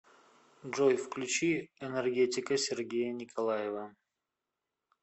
джой включи энергетика сергея николаева